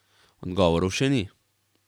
Odgovorov še ni.